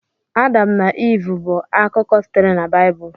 Adam na Iv bụ akụkọ sitere na Baịbụl.